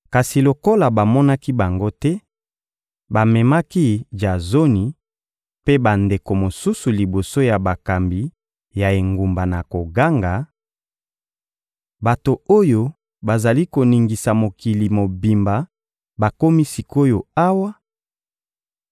Kasi lokola bamonaki bango te, bamemaki Jazoni mpe bandeko mosusu liboso ya bakambi ya engumba na koganga: — Bato oyo bazali koningisa mokili mobimba bakomi sik’oyo awa,